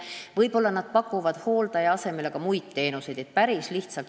Võib-olla nad pakuvad hooldaja asemel ka muid teenuseid.